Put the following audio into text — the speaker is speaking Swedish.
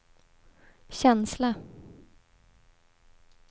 känsla